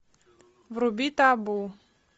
вруби табу